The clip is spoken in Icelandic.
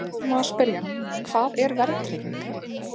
Við byrjuðum á að spyrja: Hvað er verðtrygging?